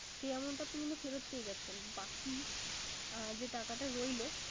সে Amount টা কিন্তু ফেরত পেয়ে যাচ্ছেন। বাকী আহ যে টাকা রইলো